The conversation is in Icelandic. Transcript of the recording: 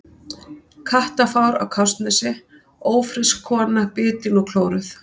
Kattafár á Kársnesi: Ófrísk kona bitin og klóruð.